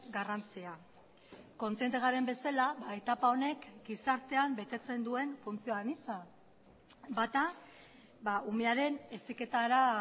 garrantzia kontziente garen bezala etapa honek gizartean betetzen duen funtzio anitza bata umearen heziketara